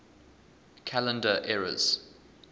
calendar eras